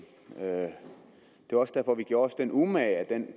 det er også derfor vi gjorde os den umage at vi